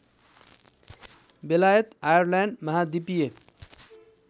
बेलायत आयरल्यान्ड महाद्वीपीय